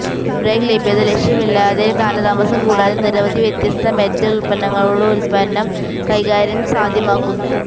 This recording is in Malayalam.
ബ്രേക്ക് ലഭ്യത ശല്യമില്ലാതെ കാലതാമസം കൂടാതെ നിരവധി വ്യത്യസ്ത മെറ്റൽ ഉൽപ്പന്നങ്ങളുടെ ഉൽപ്പന്നം കൈകാര്യം സാധ്യമാക്കുന്നു